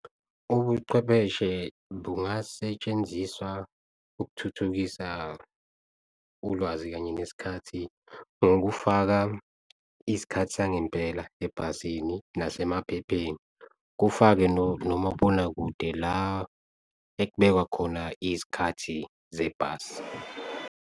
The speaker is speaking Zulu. Ubuchwepheshe bungasetshenziswa ukuthuthukisa ulwazi kanye nesikhathi, ngokufaka isikhathi sangempela, ebhasini nasemaphepheni kufakwe nomabonakude, la ekubekwa khona izikhathi zebhasi.